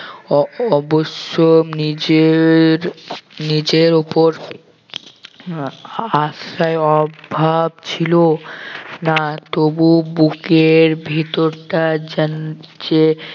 অ~ অবশ্য নিজের নিজের ওপর আহ আস্থায় অভাব ছিল না তবুও বুকের ভেতরটা যেন চে